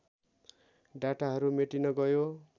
डाटाहरू मेटिन गयो